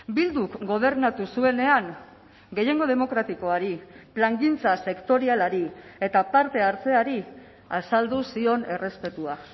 bilduk gobernatu zuenean gehiengo demokratikoari plangintza sektorialari eta parte hartzeari azaldu zion errespetua